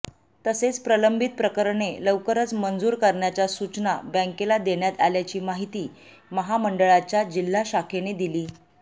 तसेच प्रलंबित प्रकरणे लवकरच मंजूर करण्याच्या सूचना बँकेला देण्यात आल्याची महिती महामंडळाच्या जिल्हा शाखेने दिली